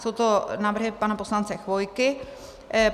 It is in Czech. Jsou to návrhy pana poslance Chvojky.